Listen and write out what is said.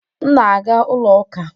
M na-aga ụlọ ụka.